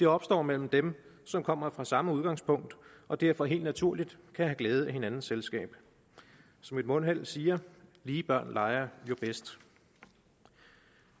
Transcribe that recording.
opstår mellem dem som kommer fra samme udgangspunkt og derfor helt naturligt kan have glæde af hinandens selskab som et mundheld siger lige børn leger bedst